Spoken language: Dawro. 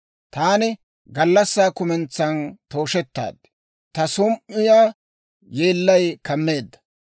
Taani gallassaa kumentsan tooshettaad. Ta som"iyaa yeellay kammeedda.